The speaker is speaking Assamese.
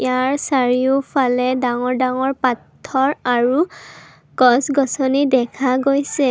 ইয়াৰ চাৰিওফালে ডাঙৰ ডাঙৰ পাথৰ আৰু গছ গছনি দেখা গৈছে।